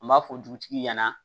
An b'a fɔ dutigi ɲɛna